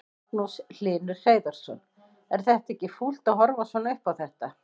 Magnús Hlynur Hreiðarsson: Er þetta ekki fúlt að horfa svona upp á þetta?